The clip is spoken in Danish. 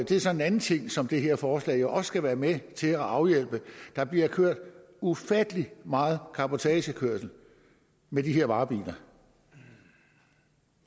det er så en anden ting som det her forslag jo også skal være med til at afhjælpe der bliver kørt ufattelig meget cabotagekørsel med de her varebiler